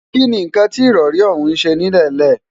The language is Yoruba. kí ni nǹkan tí ìrọrí ọ̀hún ń ṣe nílẹ̀ńlẹ̀?